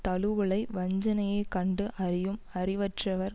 தழுவலை வஞ்சனையைக் கண்டு அறியும் அறிவற்றவர்